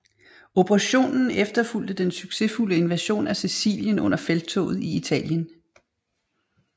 Operationen efterfulgte den succesfulde invasion af Sicilien under Felttoget i Italien